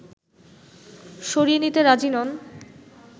সরিয়ে নিতে রাজি নন